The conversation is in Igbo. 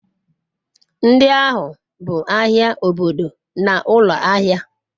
ndi ahu bu ahia obodo na ulo ahia